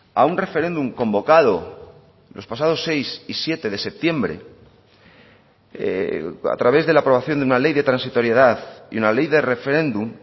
a un referéndum convocado los pasados seis y siete de septiembre a través de la aprobación de una ley de transitoriedad y una ley de referéndum